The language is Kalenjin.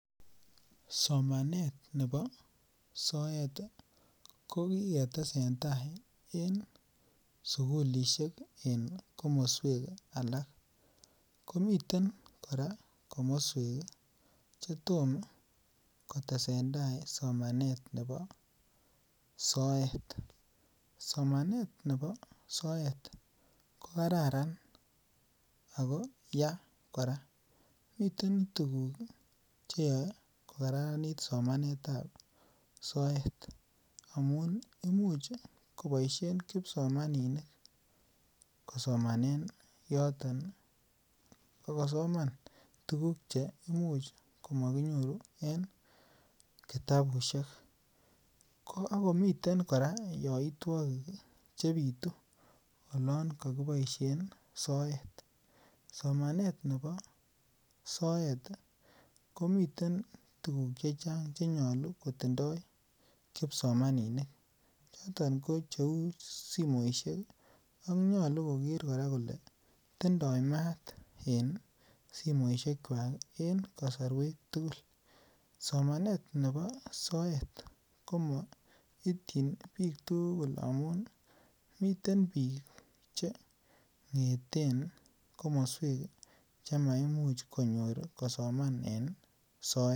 Somanet nebo soet kokiketesendai en sugulishek en komoswek alak, komiten komoswek koraa chetom kotesendaa somanet nebo soet, somanet nebo soet ko kararan ako yaa koraa miten tuguk cheyoe kokararanit somanetab soet amun imuch koboishen kipsomaninik kosomanen yoton ak kosoman tuguk cheimuch komokinyoru en kitabushek ,ko okomiten koraa yoitwokik chebitu olon kokiboishen soet somanet nebo soet komiten tuguk chechang chenyolu kotindo kipsomaninik choton ko cheu simoishek ak nyolu koraa koker kole tindo maat en simoiswekak en kosoruek tugul, somanet nebo soet komoityin bik tugul amun miten bik chengeten komoswek chemaimuch konyor kosoman en soet.